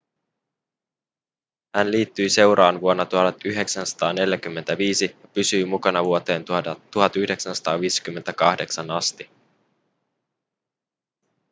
hän liittyi seuraan vuonna 1945 ja pysyi mukana vuoteen 1958 asti